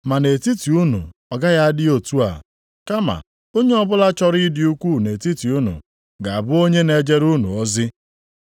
Ma nʼetiti unu ọ gaghị adị otu a. Kama onye ọbụla chọrọ ịdị ukwuu nʼetiti unu ga-abụ onye na-ejere unu ozi.